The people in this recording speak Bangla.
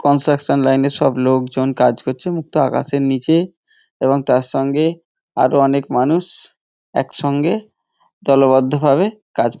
কনসাকশান লাইন -এর সব লোকজন কাজ করছে মুক্ত আকাশের নিচে এবং তার সঙ্গে আরো অনেক মানুষ একসঙ্গে দলবদ্ধ ভাবে কাজ --